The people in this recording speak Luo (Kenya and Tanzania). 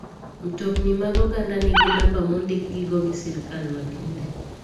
Mtokni mag oganda ningi namba mondikgi go gi sirkal makende.